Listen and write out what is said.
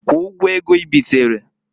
Kwụọ ụgwọ ego ibitereǃ